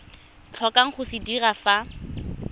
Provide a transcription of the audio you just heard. tlhokang go se dira fa